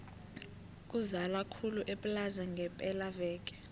kuzala khulu eplaza ngepela veke